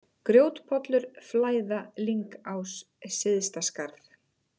Grjótpollur, Flæða, Lyngás, Syðstaskarð